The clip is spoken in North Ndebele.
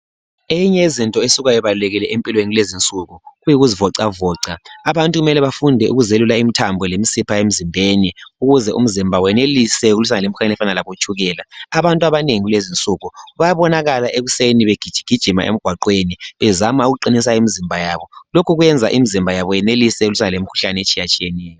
Eyinye yezinto esuka ibalulekile kulezi insuku yikuzivocavoca abantu kumele bafunde ukuzelula imthambo kanye lemsipha emzimbeni ukuze umzimba wenelise ukulwa lemkhuhlane efana labo tshukela. Abantu abanengi kulezi insuku babonakala ekuseni begijigijima emgwaqweni bezama ukuqinisa imzimba yabo. Lokhu kwenza imzimba yabo yenelise ukulwa lemkhuhlane etshiya tshiyeneyo.